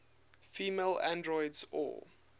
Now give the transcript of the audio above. female androids or